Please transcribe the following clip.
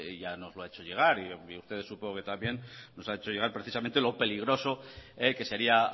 ya nos lo ha hecho llegar y a ustedes supongo que también nos han hecho llegar precisamente lo peligroso que sería